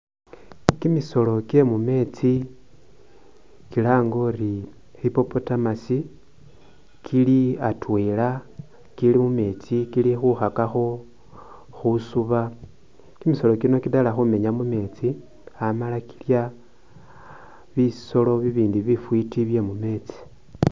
Kimisolo kyemumetsi kilange uri hippopotamus kili atwela kili mumetsi kilikhukakakho khusuba kimisolo kino kitala khumenya mumetsi amala kilya bisolo bibindi bifiti byemumetsi.